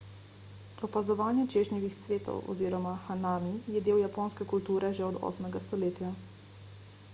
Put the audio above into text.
opazovanje češnjevih cvetov oziroma hanami je del japonske kulture že od 8 stoletja